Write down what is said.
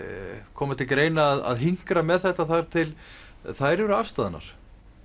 koma til greina að hinkra með þetta þar til þær eru afstaðnar